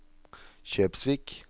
Kjøpsvik